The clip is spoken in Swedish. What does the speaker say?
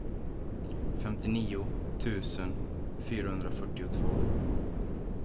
femtionio tusen fyrahundrafyrtiotvå